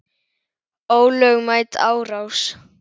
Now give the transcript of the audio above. Ólögmæt árás.